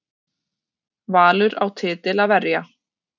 Valur á titil að verja